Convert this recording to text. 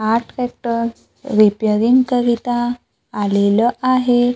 हा tractor repairing करिता आलेलं आहे.